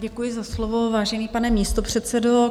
Děkuji za slovo, vážený pane místopředsedo.